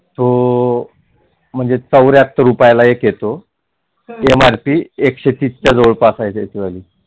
तो म्हणजे चौर्याहत्तर रुपयाला एक येतो एम एकशे तीस च्या जवळ पास आहे.